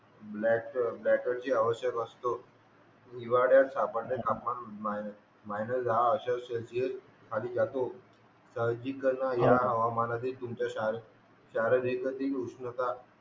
battery ची आवश्यकता असतो हिवाळ्यात सामान्य तापमान हे मायनस दहा अशे सिलसिस खाली जातो साहजिक कारण हे हवामानातील तुमचा चार अधिक उष्णता